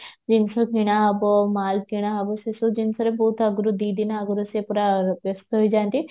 ଜିନିଷ କିଣା ହବ ମାଲ କିଣା ହବ ସେ ସବୁ ଜିନିଷରେ ବହୁତ ଆଗରୁ ଦି ଦିନ ଆଗରୁ ସେ ପୁରା ବ୍ୟସ୍ତ ହେଇଯାନ୍ତି